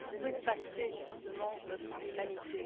Où est passée, justement, notre humanité?